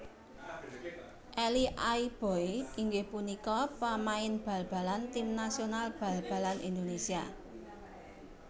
Elie Aiboy inggih punika pamain bal balan tim nasional bal balan Indonésia